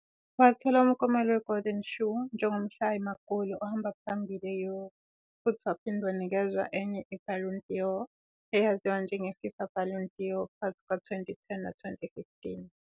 Wathola umklomelo weGolden Shoe njengomshayi magoli ohamba phambili e-Europe, futhi waphinde wanikezwa enye iBallon d'Or, eyaziwa njengeFIFA Ballon d'Or phakathi kuka-2010 no-2015